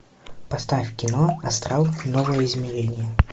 поставь кино астрал новое измерение